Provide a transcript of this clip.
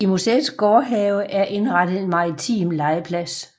I museets gårdhave er indrettet en maritim legeplads